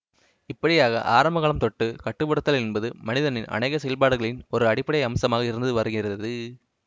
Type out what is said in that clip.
இப்படியாக ஆரம்ப காலம் தொட்டு கட்டு படுத்தல் என்பது மனிதனின் அனேக செயல்பாடுகளின் ஒரு அடிப்படை அம்சமாக இருந்து வருகிறது